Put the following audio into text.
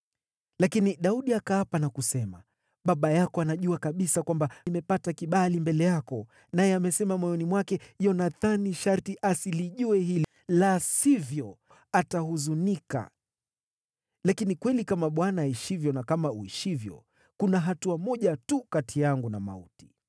Lakini Daudi akaapa na kusema, “Baba yako anajua kabisa kwamba nimepata kibali mbele yako, naye amesema moyoni mwake, ‘Yonathani sharti asilijue hili, la sivyo atahuzunika.’ Lakini kweli kama Bwana aishivyo na kama uishivyo, kuna hatua moja tu kati yangu na mauti.”